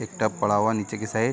एक टप पड़ा हुआ है नीचे की साइड --